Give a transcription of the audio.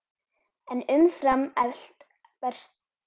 En umfram allt varstu góður.